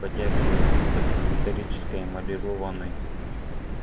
потягивая напиток из металлической эмалированной